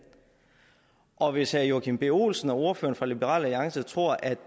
og hvis herre joachim b olsen og ordføreren fra liberal alliance tror at